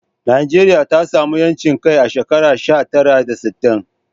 Najeriya ta samu 'yancin kai a shekara sha tara da sittin.